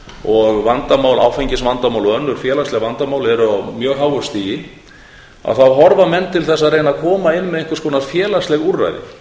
og áfengisvandamál og önnur félagsleg vandamál eru á mjög háu stigi horfa menn til þess að reyna að koma inn með einhvers konar félagsleg úrræði